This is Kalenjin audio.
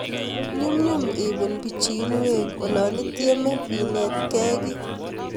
Nyumnyum ipuun pichiinwek olanityemee inetgei kiy